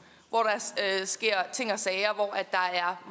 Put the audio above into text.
hvor der sker ting og sager